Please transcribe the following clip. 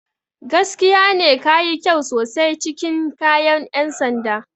Gaskiya ne, ka yi kyau sosai cikin kayan 'yan sanda.